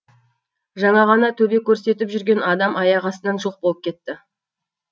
жаңа ғана төбе көрсетіп жүрген адам аяқ астынан жоқ болып кетті